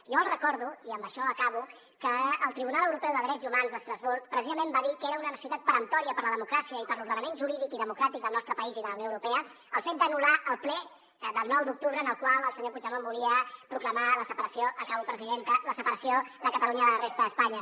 jo els recordo i amb això acabo que el tribunal europeu de drets humans d’estrasburg precisament va dir que era una necessitat peremptòria per a la democràcia i per a l’ordenament jurídic i democràtic del nostre país i de la unió europea el fet d’anul·lar el ple del nou d’octubre en el qual el senyor puigdemont volia proclamar la separació acabo presidenta de catalunya de la resta d’espanya